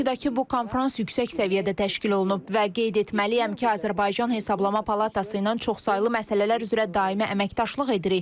Bakıdakı bu konfrans yüksək səviyyədə təşkil olunub və qeyd etməliyəm ki, Azərbaycan Hesablama Palatası ilə çoxsaylı məsələlər üzrə daimi əməkdaşlıq edirik.